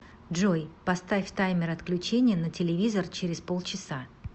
джой поставь таймер отключения на телевизор через полчаса